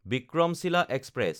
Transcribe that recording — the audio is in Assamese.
বিক্ৰমশীলা এক্সপ্ৰেছ